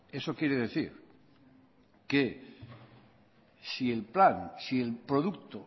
eso quiere decir que si el producto